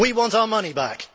We want our money back!